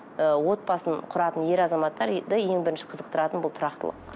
ы отбасын құратын ер азаматтар ең бірінші қызықтыратын бұл тұрақтылық